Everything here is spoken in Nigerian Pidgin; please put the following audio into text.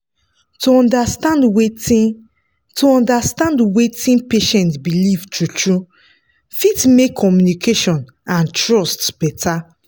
to understand wetin to understand wetin patient believe true-true fit make communication and trust better.